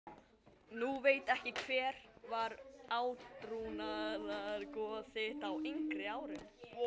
Nú veit ekki Hver var átrúnaðargoð þitt á yngri árum?